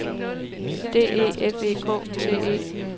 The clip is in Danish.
D E F E K T E